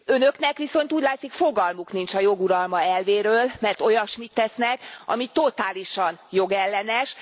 Önöknek viszont úgy látszik fogalmuk nincs a jog uralma elvéről, mert olyasmit tesznek, ami totálisan jogellenes.